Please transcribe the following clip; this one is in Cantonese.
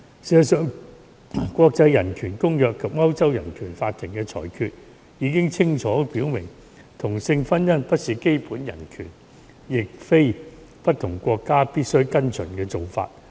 事實上，國際人權公約及歐洲人權法庭的裁決已清楚表明，同性婚姻不是基本人權，亦非不同國家必須跟隨的做法。